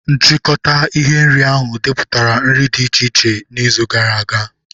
Nchịkọta ihe nri ahụ depụtara nri dị iche iche n'izu gara aga.